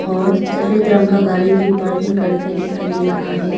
और सफेद रंग का गारी भी पार्किंग करके डिखाई डे रहा है।